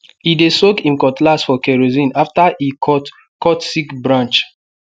e dey soak him cutlass for kerosene after e cut cut sick branch